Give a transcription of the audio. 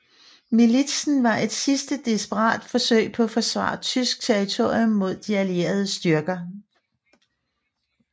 Militsen var et sidste desperat forsøg på at forsvare tysk territorium mod de allierede styrker